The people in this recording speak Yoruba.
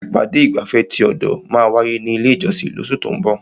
Ìpàdé ìgbafẹ́ ti ọ̀dọ̀ máa wáyé ní ilé ìjọsìn lóṣù tó ún bọ̀.